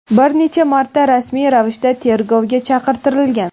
bir necha marta rasmiy ravishda tergovga chaqirtirilgan.